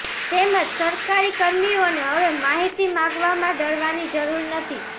તેમજ સરકારી કર્મીઓને હવે માહિતી માંગવામાં ડરવાની જરૂર નથી